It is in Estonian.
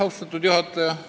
Austatud juhataja!